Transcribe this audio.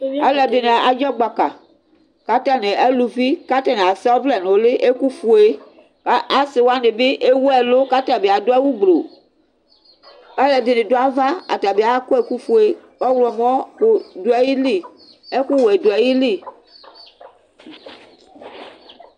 Alʋɛdini adzɔgbaka kʋ atani alʋvi kʋ atani asa ɔvlɛ nʋ ʋli ɛkʋfue kʋ asiwani bi ewʋ ɛlʋ kʋ atabi adʋ awʋ gbluu kʋ alʋɛdini dʋ ava atabi akɔ ɛkʋfue, ɔwlɔmɔ kʋ dʋ ayili ɛkʋwɛ dʋ ayili